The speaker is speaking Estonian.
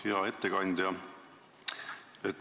Hea ettekandja!